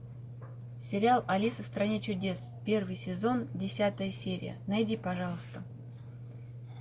сериал алиса в стране чудес первый сезон десятая серия найди пожалуйста